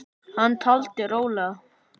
Hann taldi rólega